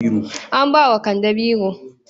An ba wa kande biro.